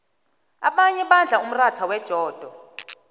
abanye badla umratha wejodo